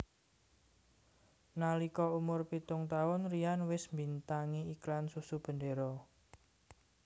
Nalika Umur pitung taun Ryan wis mbintangi iklan Susu Bendera